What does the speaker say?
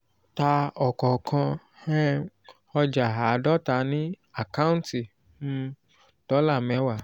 ta òkànkàn um ojà àádòta ni àkántì um dólà mèwá